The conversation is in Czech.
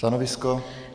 Stanovisko?